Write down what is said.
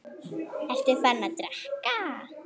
Ertu farinn að drekka?